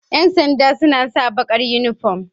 Yan sanda suna sa bakar uniform.